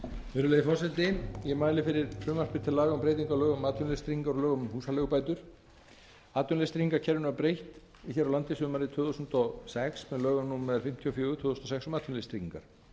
virðulegi forseti ég mæli fyrir frumvarpi til laga um breytingu á lögum um atvinnuleysistryggingar og lögum um húsaleigubætur atvinnuleysistryggingakerfinu var breytt hér á landi sumarið tvö þúsund og sex með lögum númer fimmtíu og fjögur tvö þúsund og sex um atvinnuleysistryggingar fram